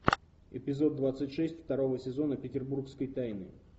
эпизод двадцать шесть второго сезона петербургские тайны